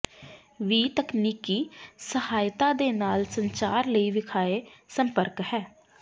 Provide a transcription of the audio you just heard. ਵੀ ਤਕਨੀਕੀ ਸਹਾਇਤਾ ਦੇ ਨਾਲ ਸੰਚਾਰ ਲਈ ਵੇਖਾਏ ਸੰਪਰਕ ਹੈ